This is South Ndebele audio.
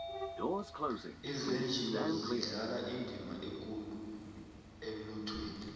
izenjiwa zidlala indima ekulu emnothweni